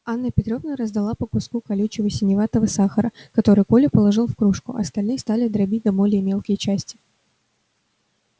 анна петровна раздала по куску колючего синеватого сахара который коля положил в кружку а остальные стали дробить на более мелкие части